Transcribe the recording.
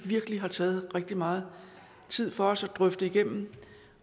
virkelig har taget rigtig meget tid for os at drøfte igennem